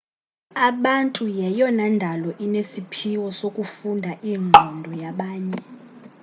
abantu yeyona ndalo inesiphiwo sokufunda iingqondo yabanye